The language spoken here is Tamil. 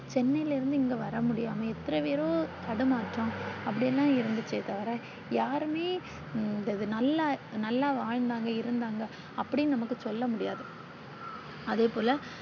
சென்னையில் இருந்து இங்க வர முடியாம எத்தரை பேரோ தடுமாற்றம் அப்படியெல்லாம் இருந்துச்சே தவிர யாருமே இது நல்லா நல்லா வாழ்ந்தாங்க இருந்தாங்க அப்பிடினு நமக்கு சொல்ல முடியது அதேபோல